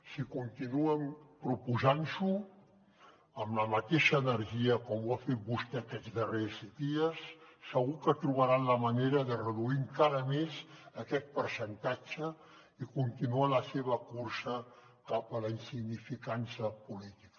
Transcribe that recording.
si continuen proposant s’ho amb la mateixa energia com ho ha fet vostè aquests darrers dies segur que trobaran la manera de reduir encara més aquest percentatge i continuar la seva cursa cap a la insignificança política